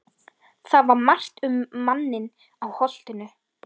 Það var margt um manninn á Holtinu.